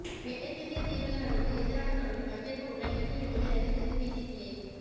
மேற்கிந்திய தீவுகள் அணிக்கு எதிரான தொடரில் பங்கேற்கவுள்ள இந்திய அணியை அறிவித்தது பிசிசிஐ